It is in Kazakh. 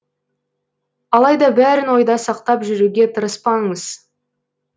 алайда бәрін ойда сақтап жүруге тырыспаңыз